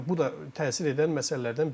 Yəni bu da təsir edən məsələlərdən biridir.